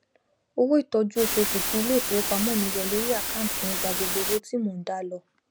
owó ìtójú osuosù tí ilé ìfowópamó mii yọ lórí àkántìì mi gba gbogbo owó tí mò n dá lọ